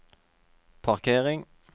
parkering